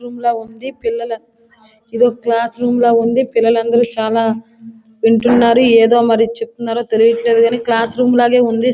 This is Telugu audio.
రూమ్ లా ఉంది. పిల్లలంతా ఇదొక క్లాస్ రూమ్ లాగే ఉంది. పిల్లలందరూ చాలా వింటున్నారు. ఏదో మరి చెప్తున్నారు. తెలియట్లేదు కానీ క్లాస్ రూమ్ లాగా ఉంది.